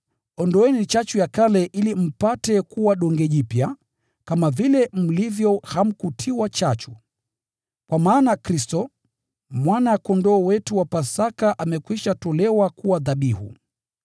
Ondoeni chachu ya kale ili mpate kuwa donge jipya lisilotiwa chachu, kama vile mlivyo. Kwa maana Kristo, Mwana-Kondoo wetu wa Pasaka amekwisha tolewa kuwa dhabihu.